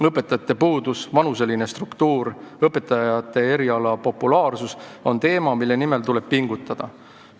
Õpetajate puudus, vanuseline struktuur, õpetajate elukutse väike populaarsus – need on probleemid, mille leevendamise nimel tuleb pingutada.